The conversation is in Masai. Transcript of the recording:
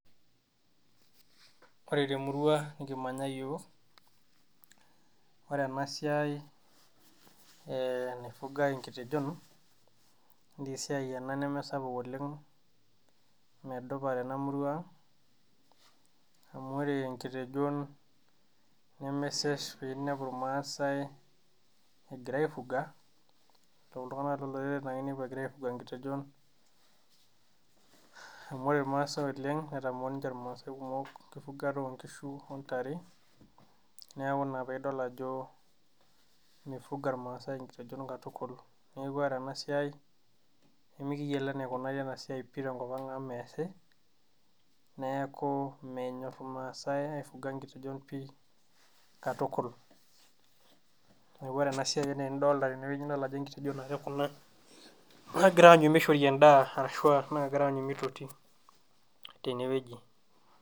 Ore temurua nikimanya iyiok ore ena siai eh naifugae enkitejon nesiai ena nemesapuk oleng medupa tena murua ang amu ore inkitejon nemesesh piinepu irmaasae egira aifuga iltung'anak ake loloreren ake inepu egira aifuga inkitejon amu ore irmaasae oleng netamoo ninche irmaasae kumok enkifugata onkishu ontare neeku ina peidol ajo mifuga irmaasae inkitejon katukul neeku ore ena siai nemikiyiolo enikunari ena siai pii tenkop ang amu meesi neeku menyorr irmaasae aifuga inkitejon pii katukul neeku ore na siai enaa enidolta teneweji idol ajo inkitejon ake kuna naagira aanyu mishori endaa arashua naagira aanyu mitotiteneweji.